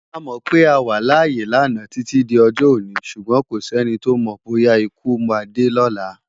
A mò pé á wá lááyé lana titi d òjò-óni súgbòn kósèni tó mò bóyá ikú má dé lòlá